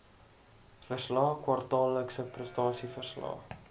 verslae kwartaallikse prestasieverslae